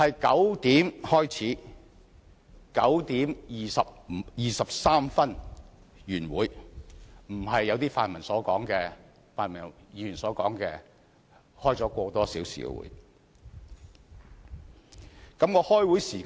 9時開始 ，9 時23分便已結束會議，並非如同部分泛民議員所說，舉行了1個多小時的會議。